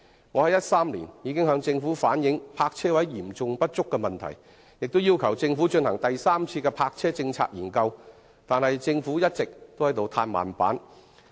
我在2013年已經向政府反映泊車位嚴重不足的問題，並要求政府進行第三次泊車政策檢討，但政府卻一直在"歎慢板"。